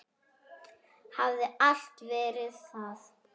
Hafa alltaf verið það.